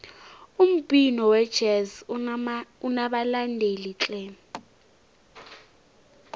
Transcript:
umbhino wejezi unabalandeli tle